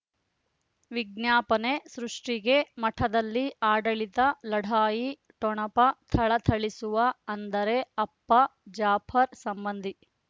ವಿಜ್ಞಾಪನೆ ಸೃಷ್ಟಿಗೆ ಮಠದಲ್ಲಿ ಆಡಳಿತ ಲಢಾಯಿ ಠೊಣಪ ಥಳಥಳಿಸುವ ಅಂದರೆ ಅಪ್ಪ ಜಾಪರ್ ಸಂಬಂಧಿ